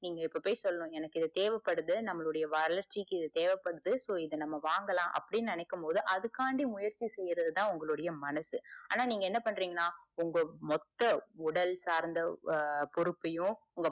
நீங்க இப்ப போய் சொல்லணும் எனக்கு இது தேவபடுது நம்மலுடைய வளர்ச்சிக்கு தேவபடுது. so, இத நாம வாங்கலாம் அப்டின்னு நினைக்கும் போது அதுக்காண்டி முயற்சி செய்யறதுதான் உங்க மனசு ஆனா நீங்க என்ன பண்ரீங்கனா உங்க மொத்த உடல்சார்ந்த ஹம் பொறுப்பையோ